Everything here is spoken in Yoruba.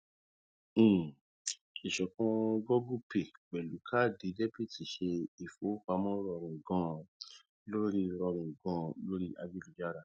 um ìṣọkan google pay pẹlú kaadi debiti ṣe ìfowópamọ rọrùn ganan lórí rọrùn ganan lórí ayélujára